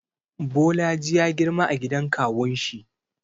Bolaji ya girma a gidan kawunshi.